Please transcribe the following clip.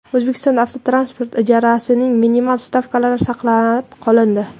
O‘zbekistonda avtotransport ijarasining minimal stavkalari saqlab qolindi.